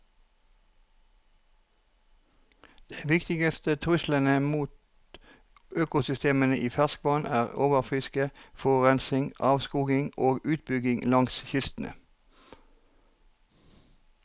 De viktigste truslene mot økosystemene i ferskvann er overfiske, forurensning, avskoging og utbygging langs kystene.